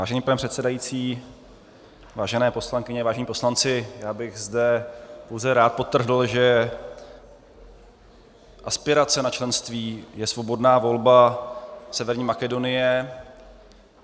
Vážený pane předsedající, vážené poslankyně, vážení poslanci, já bych zde pouze rád podtrhl, že aspirace na členství je svobodná volba Severní Makedonie.